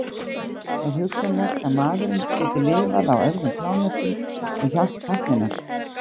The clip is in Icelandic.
Er hugsanlegt að maðurinn geti lifað á öðrum plánetum með hjálp tækninnar?